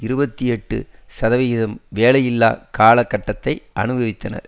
இருபத்தி எட்டு சதவீதத்தினர் வேலையில்லா காலகட்டத்தை அனுபவித்தனர்